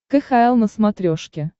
кхл на смотрешке